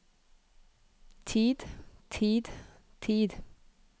tid tid tid